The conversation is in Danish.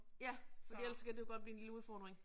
Ja. Fordi ellers kan det jo blive en lille udfording